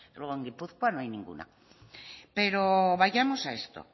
luego en gipuzkoa no hay ninguna pero vayamos a esto